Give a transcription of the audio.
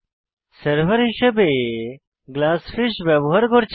server হিসাবে GlassFish ব্যবহার করছি